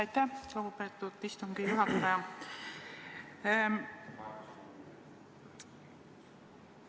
Aitäh, lugupeetud istungi juhataja!